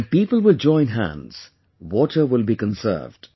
When people will join hands, water will be conserved